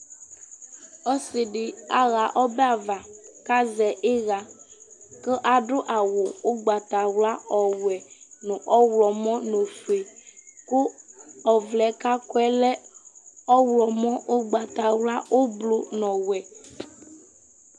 ɔssidï aɦa ɔbɛava kazɛ ïÿa kũ adũ awũ ʊgbata wla ɔwɛ nũ ɔylɔmɔ n'ofue kũ ɔvlɛ ka kɔe lẽ ɔylɔmɔ ũgbata wla ũblũ nɔ wɛ